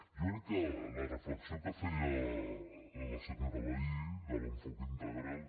jo crec que la reflexió que feia la senyora vehí de l’enfocament integral